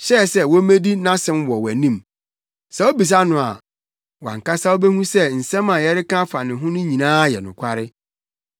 hyɛɛ sɛ wommedi nʼasɛm wɔ wʼanim. Sɛ wubisa no a, wo ara ankasa wubehu sɛ nsɛm a yɛreka afa ne ho no nyinaa yɛ nokware.”